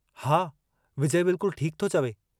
हा, विजय बिल्कुल ठीक थो चवे।